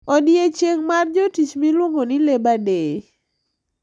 Odiechieng` mar jotich miluongo ni labour day.